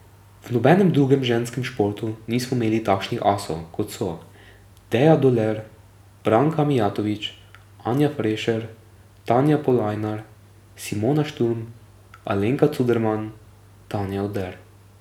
V nobenem drugem ženskem športu nismo imeli takšnih asov, kot so Deja Doler, Branka Mijatovič, Anja Frešer, Tanja Polajnar, Simona Šturm, Alenka Cuderman, Tanja Oder...